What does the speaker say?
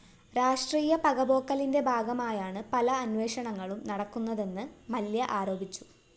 രാഷ്ട്രീയ പകപോക്കലിന്റെ ഭാഗമായാണ് പല അന്വേഷണങ്ങളും നടക്കുന്നതെന്ന് മല്യ ആരോപിച്ചു